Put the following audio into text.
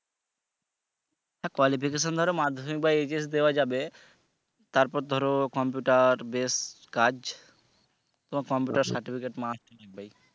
qualification ধরো মাধ্যমিক বা দেয়া যাবে তারপর ধরো computer base কাজ তোমার computer certificate must থাকতে হবে